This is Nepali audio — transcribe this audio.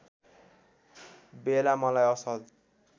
बेला मलाई असल